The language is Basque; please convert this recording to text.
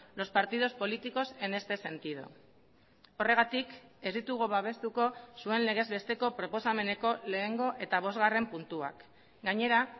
los partidos políticos en este sentido horregatik ez ditugu babestuko zuen legez besteko proposameneko lehengo eta bosgarren puntuak gainera